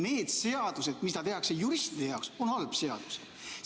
Need seadused, mida tehakse juristide jaoks, on halvad seadused.